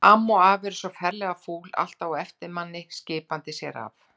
Amma og afi eru bara svo ferlega fúl, alltaf á eftir manni, skiptandi sér af.